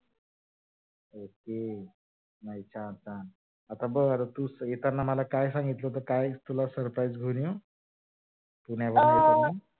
ज हम्म बस हा आता आता बर तू येताना मला काय सांगितल येताना तुला काय surprise घेऊन येऊ? पुण्यावरून येताना अं